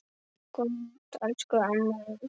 Góða nótt, elsku amma mín.